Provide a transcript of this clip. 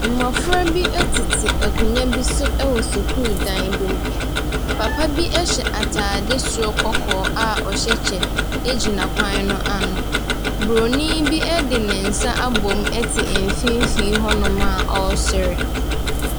Mmɔfra bi tete akonnwa bi so wɔ sukuu dan bi mu. Papa bi hyɛ atade soro kɔkɔɔ a ɔhyɛ kyɛ gyina kwan no ano. Buroni bi de ne nsa abom te mfimfini hɔnom a ɔresere.